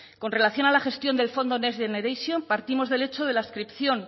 con relación a la gestión del fondo next generation partimos del hecho de la adscripción